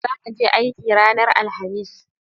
Zaka je aiki ranar alhamis?